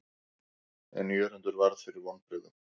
En Jörundur varð fyrir vonbrigðum.